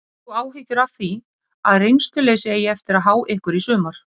Hefur þú áhyggjur af því að reynsluleysi eigi eftir að há ykkur í sumar?